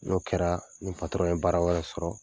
N'o kɛra, ni patɔrɔn ye baara wɛrɛ sɔrɔ,